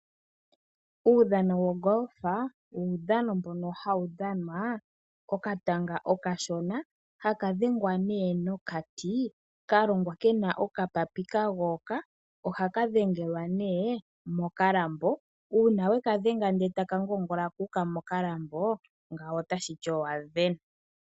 Uudhano wogolfa owo uudhano mboka hawu dhanwa kokatanga okashona, ano taka dhengwa nokati ka longwa kena okapapi ka goyoka. Ohaka dhengelwa nee mokalambo, shaa ka ngoongola mo ngao otashi ti owa sindana.